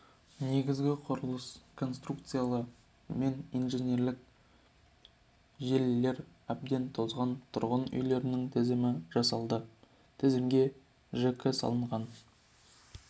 негізгі құрылыс конструкциялары мен инженерлік желілері әбден тозған тұрғын үйлердің тізімі жасалды тізімге жж салынған